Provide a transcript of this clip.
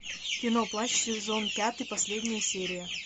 кино плащ сезон пятый последняя серия